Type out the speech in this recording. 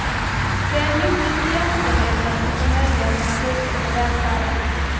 Det är en nyckel till jämställdheten och för möjligheten att utveckla välfärden.